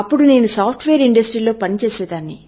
అప్పుడు నేను software industry లో పనిచేస్తున్నారు